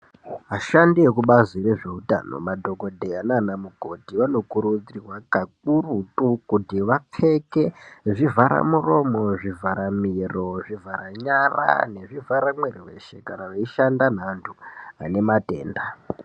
Vashandi vekubazi rezveutano madhokodheya nanamukoti vanokurudzirwa kakurutu kuti vapfeke zvivhara muromo zvivhara miro zvivhara nyara nezvivhara mwiri weshe kana veishanda neantu ane matenda .